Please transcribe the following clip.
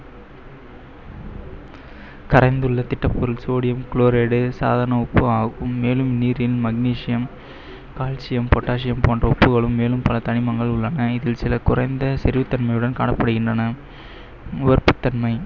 கரைந்துள்ள திடப்பொருள் sodium chloride உ சாதாரண உப்பாகும். மேலும் நீரில் magnesium, calcium, potassium போன்ற உப்புகளும் மேலும் பல தனிமங்கள் உள்ளன. இதில் சில குறைந்த செறிவுத்தன்மையுடன் காணப்படுகின்றன. உவர்ப்புத்தன்மை